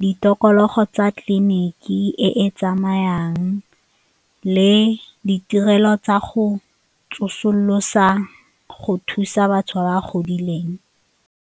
ditokologo tsa tleliniki e e tsamayang le ditirelo tsa go tsosolosa go thusa batho ba ba godileng.